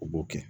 U b'o kɛ